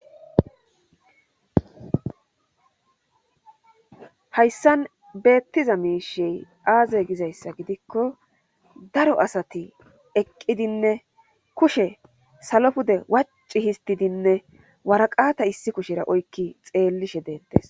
hayssan beettiza miishey aaze gizayssa gidikko daro asati eqqidinne kushe salo pude wacci histidinne waraqata issi kushera oykki xeellishe deettes